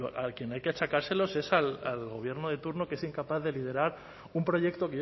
a quien hay que achacárselos es al gobierno de turno que es incapaz de liderar un proyecto